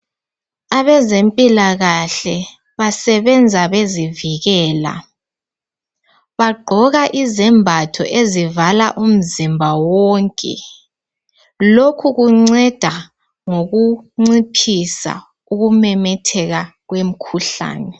abezempilakahle basebenza bezivikela bagqoka izembatho ezivala umzimba wonke lokhu kunceda ngokunciphisa ukumemetheka kwemikhuhlane